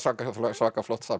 svaka flott safn